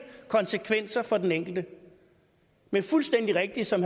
konsekvenser for den enkelte med fuldstændig rigtigt som